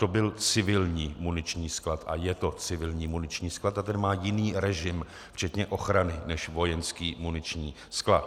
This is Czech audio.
To byl civilní vojenský sklad, a je to civilní muniční sklad a ten má jiný režim včetně ochrany než vojenský muniční sklad.